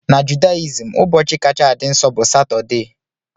Na Judaism, ụbọchị kacha dị nsọ bụ Satọdee.